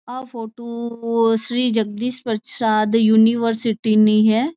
या photo Shri Jagdish Prasad university नी है।